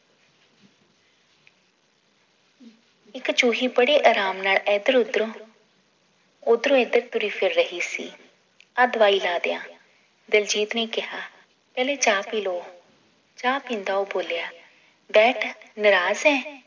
ਇੱਕ ਚੂਹੀ ਬੜੇ ਰਾਮ ਨਾਲ ਏਧਰ ਓਧਰੋਂ ਓਧਰੋਂ ਏਧਰ ਤੁਰੀ ਫਿਰ ਰਹੀ ਸੀ ਆ ਦਵਾਈ ਲਾ ਦਿਆਂ ਦਿਲਜੀਤ ਨੇ ਕਿਹਾ ਪਹਿਲੇ ਚਾਅ ਪੀਲੋ ਚਾਅ ਪੀਂਦਾ ਉਹ ਬੋਲਿਆ ਬੈਠ ਨਾਰਾਜ਼ ਏਂ